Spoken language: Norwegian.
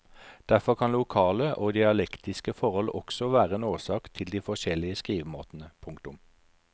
Derfor kan lokale og dialektiske forhold også være en årsak til de forskjellige skrivemåtene. punktum